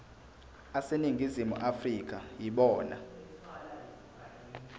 aseningizimu afrika yibona